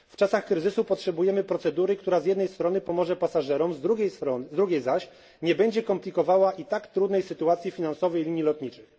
W czasach kryzysu potrzebujemy procedury, która z jednej strony pomoże pasażerom, z drugiej zaś nie będzie komplikować i tak trudnej sytuacji finansowej linii lotniczych.